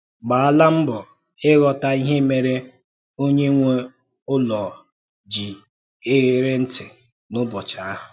Gbàlá mbọ̀ ịghọ́tà ihe mèrè onye nwe ụlọ ji eghèrì ntị n’ụ́bọchị ahụ.